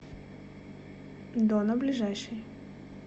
донна ближайший